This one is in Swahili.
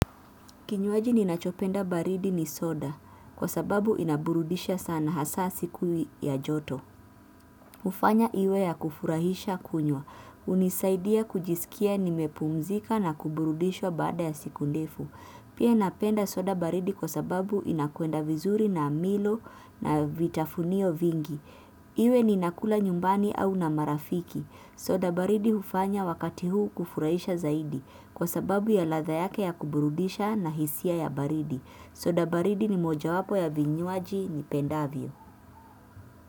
Kinywaji ninachopenda baridi ni soda, kwa sababu inaburudisha sana hasa siku ya joto. Hufanya iwe ya kufurahisha kunywa hunisaidia kujisikia nimepumzika na kuburudishwa baada ya siku ndefu. Pia napenda soda baridi kwa sababu inakwenda vizuri na milo na vitafunio vingi. Iwe ninakula nyumbani au na marafiki. Soda baridi hufanya wakati huu kufurahisha zaidi. Kwa sababu ya ladha yake ya kuburudisha na hisia ya baridi. Soda baridi ni mojawapo ya vinywaji nipendavyo.